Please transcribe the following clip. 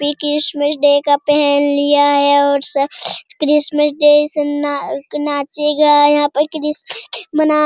ये Christmas day का पहन लिया है और स क्रिसमस डे अइसन ना नाचेगा यहाँ पर क्रिसमस डे मना --